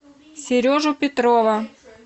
сережу петрова